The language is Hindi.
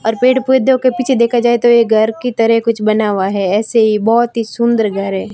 और पेड़ पौधे के पीछे देखा जाए तो ये घर की तरह कुछ बना हुआ है ऐसे ही बहोत ही सुंदर घर है।